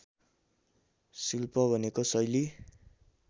शिल्प भनेको शैली